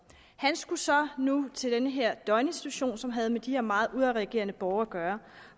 han skulle så nu til den her døgninstitution som havde med de her meget udadreagerende borgere at gøre